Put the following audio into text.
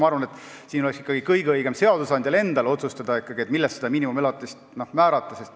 Ma arvan, et siin oleks kõige õigem ikkagi seadusandjal endal otsustada, millest seda miinimumelatist määrata.